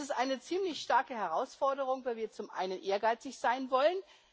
Das ist eine ziemlich starke Herausforderung, weil wir zum Einen ehrgeizig sein wollen.